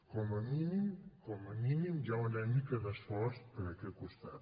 com a mínim com a mínim hi ha una mica d’esforç per aquest costat